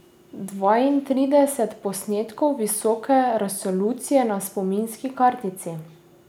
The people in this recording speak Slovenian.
Dvaintrideset posnetkov visoke resolucije na spominski kartici.